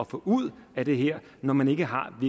få ud af det her når man ikke har